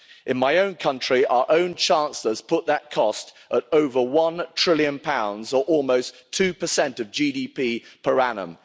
In my own country, our own Chancellor has put that cost at over one trillion pounds, or almost 2 of GDP per annum.